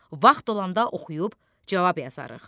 Vaxt olanda oxuyub cavab yazarıq.